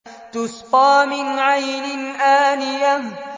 تُسْقَىٰ مِنْ عَيْنٍ آنِيَةٍ